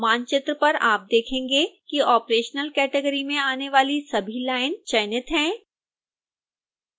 मानचित्र पर आप देखेंगे कि operational category में आने वाली सभी लाइन चयनित हैं